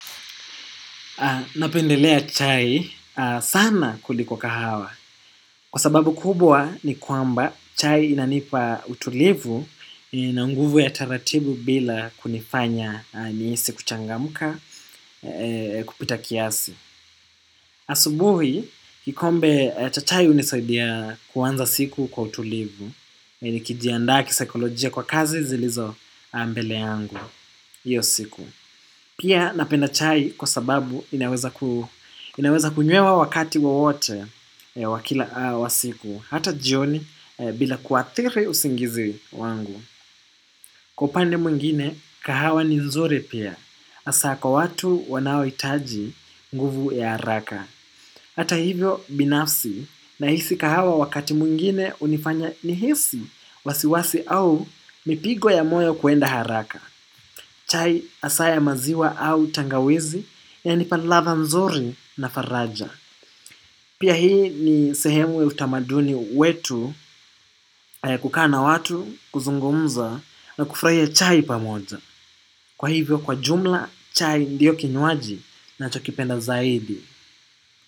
Napendelea chai sana kuliko kahawa. Kwa sababu kubwa ni kwamba chai inanipa utulivu ina nguvu ya taratibu bila kunifanya nihisi kuchangamka kupita kiasi. Asubuhi, kikombe cha chai hunisaidia kuanza siku kwa utulivu na nikijiiandaa kisikolojia kwa kazi zilizo mbele yangu hiyo siku. Pia napenda chai kwa sababu inaweza kunywewa wakati wowote wa kila siku. Hata jioni bila kuadhiri usingizi wangu. Kwa upande mwingine, kahawa ni nzuri pia. Haswa kwa watu wanaohitaji nguvu ya haraka. Hata hivyo binafsi nahisi kahawa wakati mwingine hunifanya nihisi wasiwasi au mipigo ya moyo kuenda haraka. Chai hasa ya maziwa au tangawizi yanipa ladha nzuri na faraja. Pia hii ni sehemu ya utamaduni wetu ya kukaa na watu, kuzungumza na kufurahia chai pamoja. Kwa hivyo kwa jumla chai ndio kinywaji nachokipenda zaidi.